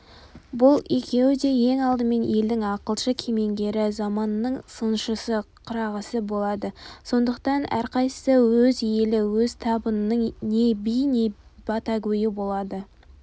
бұл екеуі де ең алдымен елдің ақылшы кемеңгері заманның сыншысы қырағысы болады сондықтан әрқайсысы өз елі өз табының не биі не батагөйі болады